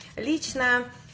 лично